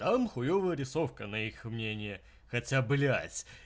там хуёвая рисовка на их мнение хотя блядь